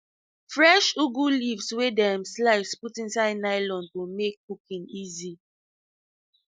fresh ugu leaves wey dem slice put inside nylon to make cooking easy